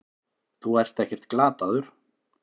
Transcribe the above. Þú ert ekkert glataður.